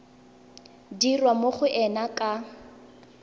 dirwa mo go ena ka